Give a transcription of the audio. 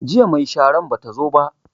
Jiya mai sharan bata zo ba